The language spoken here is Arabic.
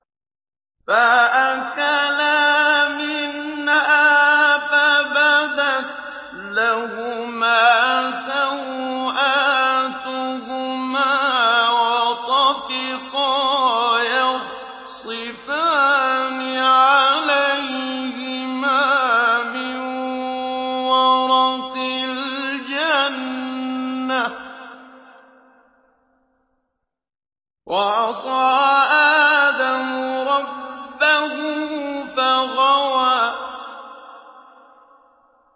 فَأَكَلَا مِنْهَا فَبَدَتْ لَهُمَا سَوْآتُهُمَا وَطَفِقَا يَخْصِفَانِ عَلَيْهِمَا مِن وَرَقِ الْجَنَّةِ ۚ وَعَصَىٰ آدَمُ رَبَّهُ فَغَوَىٰ